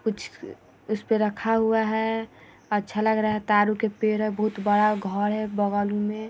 कुछ उसपे रखा हुआ है अच्छा लग रहा है तारो के पेड़ है बहुत बड़ा घोर है बगल में।